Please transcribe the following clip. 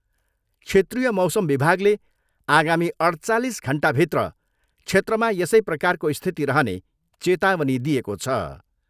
क्षेत्रिय मौसम विभागले आगामी अठ्चालिस घन्टाभित्र क्षेत्रमा यसै प्रकारको स्थिति रहने चेतावनी दिएको छ।